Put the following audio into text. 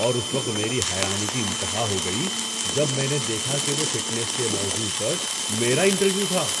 اور اس وقت میری حیرانی کی انتہا ہو گئی جب میں نے دیکھا کہ وہ فٹنس کے موضوع پر میرا انٹرویو تھا۔